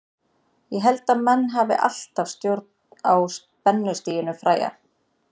Ég held að menn hafi alltaf stjórn á spennustiginu fræga.